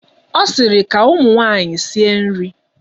Ọ sịrị, ka ụmụ nwaanyị sie nri!